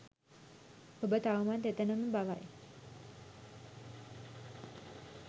ඔබ තවමත් එතැනම බවයි.